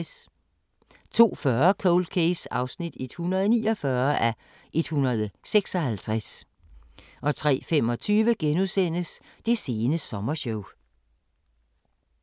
02:40: Cold Case (149:156) 03:25: Det sene sommershow *